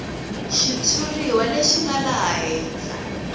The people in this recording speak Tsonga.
xitshuriwa lexi nga laha henhla